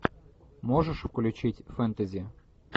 можешь включить фэнтези